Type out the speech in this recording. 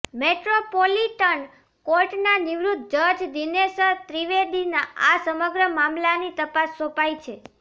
metropolitan કોર્ટના નિવૃત્ત જજ દિનેશ ત્રિવેદીને આ સમગ્ર મામલાની તપાસ સોંપાઇ છે